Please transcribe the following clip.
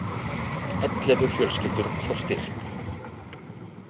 Ellefu fjölskyldur fá styrk